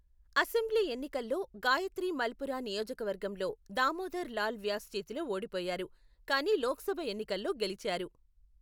Assembly ఎన్నికల్లో, గాయత్రి మల్పురా నియోజకవర్గంలో దామోదర్ లాల్ వ్యాస్ చేతిలో ఓడిపోయారు, కానీ లోక్సభ ఎన్నికల్లో గెలిచారు.